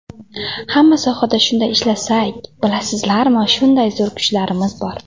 Hamma sohada shunday ishlasak, bilasizlarmi, shunday zo‘r kuchlarimiz bor.